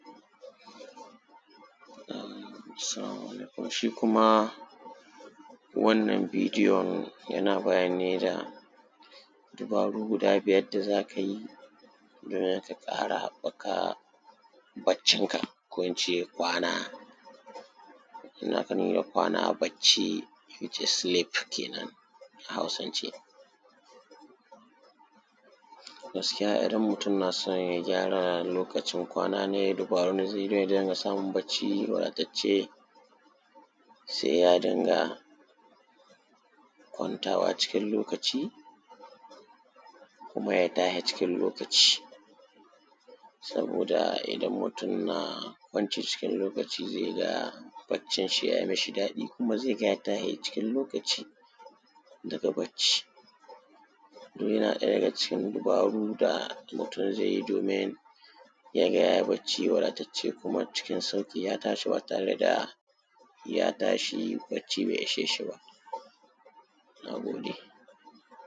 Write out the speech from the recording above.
salamu alaikum shi kuma wannan bidiyon yana bayani ne da dubaru guda biyar da za ka yi da za ka ƙara haɓɓaka barcinka ko in ce kwana inda aka nuna kwana barci sleep kenan a hausance gaskiya idan mutum na son ya gyara lokacin kwana nai dubarun da zai bi ya dinga samun barci wadatacce sai ya dinga kwantawa cikin lokaci kuma ya tashi cikin lokaci saboda idan mutum na kwanci cikin lokaci zai ga barcinnshi ya yi mishi daɗi kuma zai ga ya tashi cikin lokaci i daga barc duk yana ɗaya daga cikin dubaru da mutum zai yi domin ya ga ya yi barci wadatacce kuma cikin sauƙiya tashi ba tare da ya tashi barci bai ishe shi ba na gode